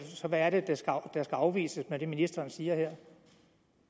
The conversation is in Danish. så hvad er det der skal afvises med det ministeren siger her